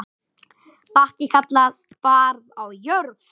Bakki kallast barð á jörð.